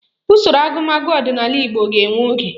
Usoro agụmagụ ọdịnala Igbo ga-ewe oge